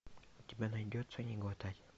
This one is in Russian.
у тебя найдется не глотать